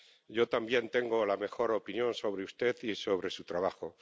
Yo también tengo la mejor opinión sobre usted y sobre su trabajo.